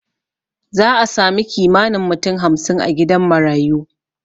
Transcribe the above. Za'a samu kimanin mutum hamsin a gidan marayu